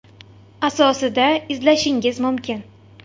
asosida izlashingiz mumkin.